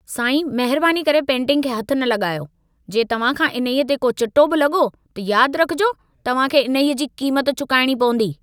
साईं, महिरबानी करे पेंटिंग खे हथ न लॻायो। जे तव्हां खां इन्हईअ ते को चिटो बि लॻो, त यादि रखिजो, तव्हां खे इन्हईअ जी क़ीमत चुकाइणी पवंदी।